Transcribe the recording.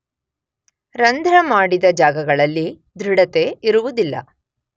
ರಂಧ್ರ ಮಾಡಿದ ಜಾಗಗಳಲ್ಲಿ ದೃಢತೆ ಇರುವುದಿಲ್ಲ.